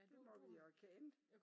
Det må vi jo erkende